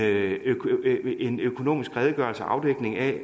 økonomisk redegørelse og afdækning af